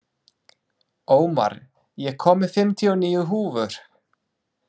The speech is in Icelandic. Ómar, ég kom með fimmtíu og níu húfur!